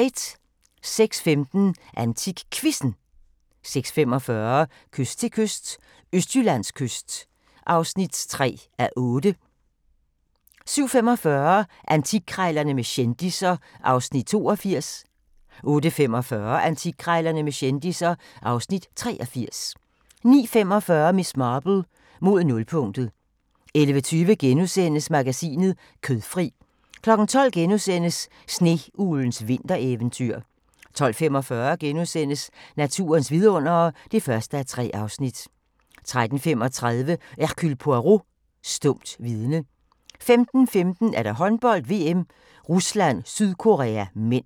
06:15: AntikQuizzen 06:45: Kyst til kyst – Østjyllands kyst (3:8) 07:45: Antikkrejlerne med kendisser (Afs. 82) 08:45: Antikkrejlerne med kendisser (Afs. 83) 09:45: Miss Marple: Mod nulpunktet 11:20: Madmagasinet: Kødfri * 12:00: Sneuglens vintereventyr * 12:45: Naturens vidundere (1:3)* 13:35: Hercule Poirot: Stumt vidne 15:15: Håndbold: VM - Rusland-Sydkorea (m)